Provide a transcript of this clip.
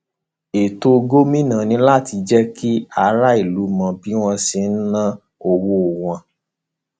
ètò gómìnà ni láti jẹ kí aráàlú mọ bó ṣe ń ná owó wọn